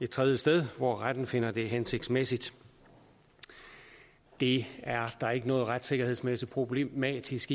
et tredje sted hvor retten finder det hensigtsmæssigt det er der ikke noget retssikkerhedsmæssigt problematisk